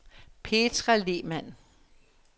Petra Lehmann